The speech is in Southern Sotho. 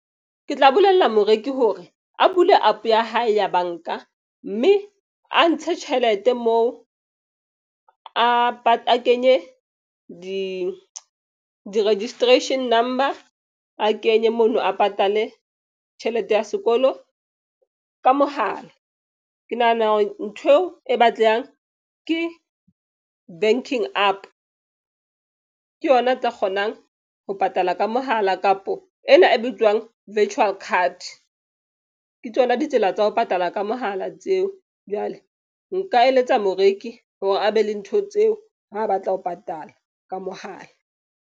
Ke tla bolella moreki hore a bule app ya hae ya bank-a. Mme a ntshe tjhelete moo, a kenye di registration number-a, kenye mono a patale tjhelete ya sekolo ka mohala. Ke nahana hore ntho eo e batlehang ke banking app. Ke yona e tla kgonang ho patala ka mohala kapo ena e bitswang virtual card. Ke tsona ditsela tsa ho patala ka mohala tseo. Jwale nka eletsa moreki hore a be le ntho tseo ha batla ho patala ka mohala.